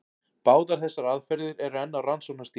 Báðar þessar aðferðir eru enn á rannsóknarstigi.